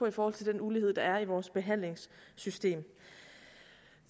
i forhold til den ulighed der er i vores behandlingssystem